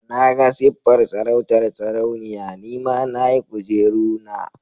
Na ga siffar sarautar sarauniya, ni ma na yi kujeru na.